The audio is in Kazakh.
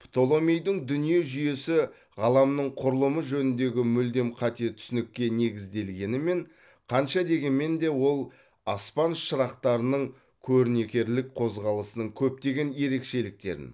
птоломейдің дүние жүйесі ғаламның құрылымы жөніндегі мүлдем қате түсінікке негізделгенімен қанша дегенмен де ол аспан шырақтарының көрнекерлік қозғалысының көптеген ерекшеліктерін